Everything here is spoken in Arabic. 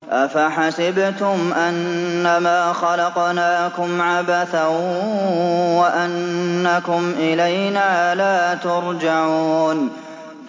أَفَحَسِبْتُمْ أَنَّمَا خَلَقْنَاكُمْ عَبَثًا وَأَنَّكُمْ إِلَيْنَا لَا تُرْجَعُونَ